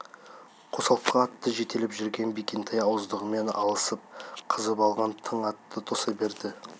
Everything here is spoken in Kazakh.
қосалқы атты жетелеп жүрген бекентай ауыздығымен алысып қызып алған тың атты тоса берді